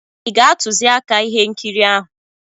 Ị ga-atụziaka ihe nkiri ahụ.